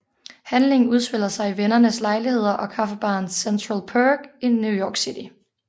Handlingen udspiller sig i vennernes lejligheder og kaffebaren Central Perk i New York City